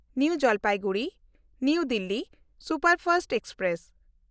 new ᱡᱟᱞᱯᱟᱭᱜᱩᱨᱤ–ᱱᱟᱣᱟ Delhi superfast express